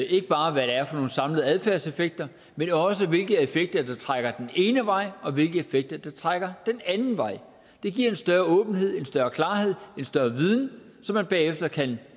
ikke bare hvad det er for nogle samlede adfærdseffekter men også hvilke effekter der trækker den ene vej og hvilke effekter der trækker den anden vej det giver en større åbenhed en større klarhed en større viden som man bagefter kan